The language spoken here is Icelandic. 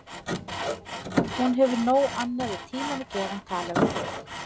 Hún hefur nóg annað við tímann að gera en tala við þig.